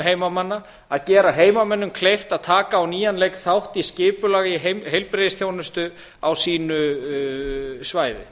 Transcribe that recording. heimamanna að gera heimamönnum kleift að taka á nýjan leik þátt í skipulagi heilbrigðisþjónustu á sínu svæði